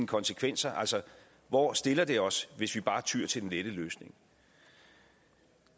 konsekvenser altså hvor stiller det os hvis vi bare tyer til den lette løsning